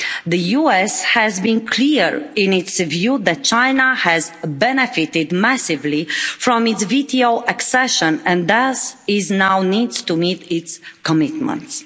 The US has been clear in its view that China has benefited massively from its WTO accession and thus it now needs to meet its commitments.